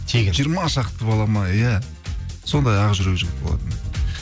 тегін жиырма шақты бала ма иә сондай ақ жүрек жігіт болатын